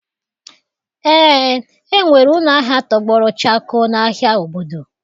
Ee, enwere ụlọ ahịa tọgbọrọ chakoo n'ahịa obodo.